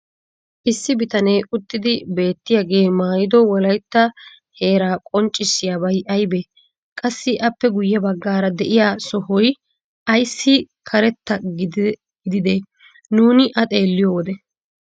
issi bitanee uttidi beetiyaagee maayido wolaytta heeraa qonccissiyabay aybee? qassi appe guye bagaara de'iyaa sohoy ayssi keretta gididee nuuni a xeeliyo wode?